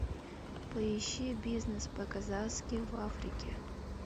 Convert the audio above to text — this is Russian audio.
поищи бизнес по казахски в африке